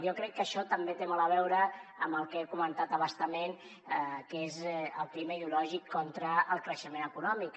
jo crec que això també té molt a veure amb el que he comentat a bastament que és el clima ideològic contra el creixement econòmic